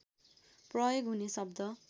प्रयोग हुने शब्द